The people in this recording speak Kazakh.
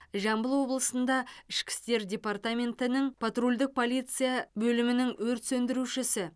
жамбыл облысында ішкі істер департаментінің потрульдік полиция бөлімінің өрт сөндірушісі